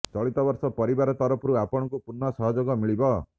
ଚଳିତ ବର୍ଷ ପରିବାର ତରଫରୁ ଆପଣଙ୍କୁ ପୂର୍ଣ୍ଣ ସହଯୋଗ ମିଳିବ